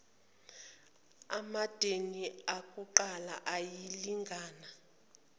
amadami akuqala ayalingana